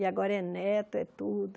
E agora é neto, é tudo.